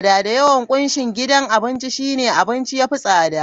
Da yawan kunshin gidan abinci shine, abincin ya fi tsada.